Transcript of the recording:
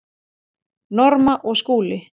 Norma og Skúli.